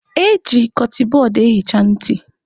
Eji kọtịn bọd ehicha ntị.